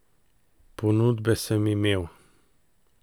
Ponudbe sem imel.